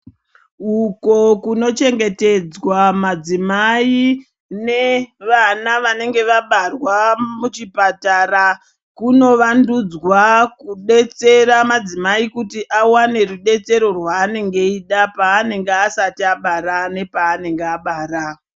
Uko kunochengetedzwa madzimai nevana vanenge vabarwa muchipatara. Kunovandudzwa kubetsera madzimai kuti avane rubetsero rwaanenge achida paanenge asati abara nepaanenge abara.